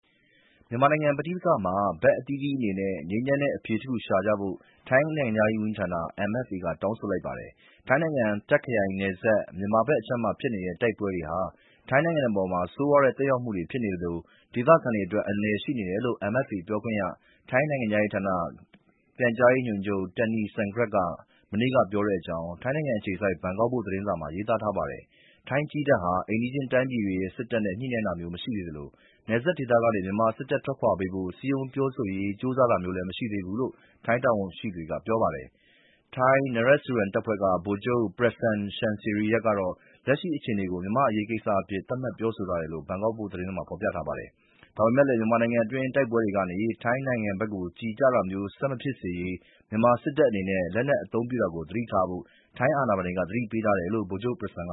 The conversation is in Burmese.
မြန်မာနိုင်ငံပဋိပက္ခအတွက် ဘက်အသီးသီးအနေနဲ့ ငြိမ်းချမ်းတဲ့အဖြေတခုရှာကြဖို့ ထိုင်းနိုင်ငံခြားရေးဝန်ကြီးဌာန ကတောင်းဆိုလိုက်ပါတယ်။ ထိုင်းနိုင်ငံ၊ Tak ပြည်နယ်နဲ့နယ်စပ် မြန်မာနိုင်ငံဘက်ခြမ်းမှာ ဖြစ်နေတဲ့တိုက်ပွဲတွေဟာ ထိုင်းနိုင်ငံအပေါ် ဆိုးရွားတဲ့သက်ရောက်မှုဖြစ်နေသလို ဒေသခံတွေအတွက် အန္တရာယ်ရှိနေတယ်လို့ MFA ပြောခွင့်ရ ထိုင်း နိုင်ငံခြားရေးဌာန ပြန်ကြားရေးညွှန်ချုပ် Tanee Sangrat က မနေ့ကပြောတဲ့အကြောင်း ထိုင်းနိုင်ငံအခြေစိုက်၊ ဘန်ကောက်ပို့စ်သတင်းစာမှာ ရေးထားပါတယ်။ ထိုင်းကြည်းတပ်ဟာ အိမ်နီးချင်းတိုင်းပြည်က စစ်တပ်နဲ့ညှိနှိုင်းတာမျိုး မရှိသေးသလို နယ်စပ်ဒေသကနေ မြန်မာစ်တပ်ထွက်ခွာပေးဖို့ စည်းရုံးပြောဆိုရေး ကြိုးစားတာမျိုး မရှိသေးဘူးလို့ထိုင်းတာဝန်ရှိသူတွေက ပြောပါတယ်။ ထိုင်း Naresuan တပ်ဖွဲ့က ဗိုလ်ချုပ် Prasan Saengsirirak ကတေ့ လက်ရှိအခြေအနေကို မြန်မာ့အရေးကိစ္စအဖြစ် သတ်မှတ်ပြောဆိုတယ်လို့လည်း ဘန်ကောက်ပို့စ်သတင်းမှာ ရေးထားပါတယ်။ ဒါပေမယ့် မြန်မာနိုင်ငံတွင်း တိုက်ပွဲတွေကနေ ထိုင်းနိုင်ငံဘက်ကို ကျည်ကျတာမျိုး ဆက်မဖြစ်စေရေး မြန်မာစစ်တပ်အနေနဲ့ လက်နက်အသုံးပြုတာကို သတိထားဖို့ ထိုင်းအာဏာပိုင်တွေက သတိပေးထားတယ်လို့ ဗိုလ်ချုပ် Prasan က